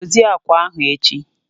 Dozie beedi ahụ echi!